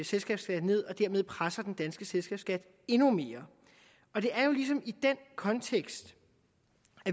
selskabsskat ned og dermed presser den danske selskabsskat endnu mere og det er ligesom i den kontekst